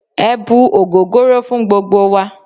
E̩ bu ogogoro fun gbogbo wa